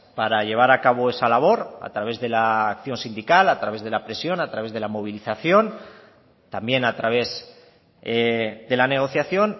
para llevar a cabo esa labor a través de la acción sindical a través de la presión a través de la movilización también a través de la negociación